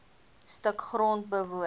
stuk grond woon